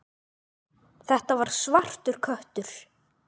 Þetta var svartur köttur.